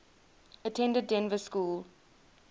attended dynevor school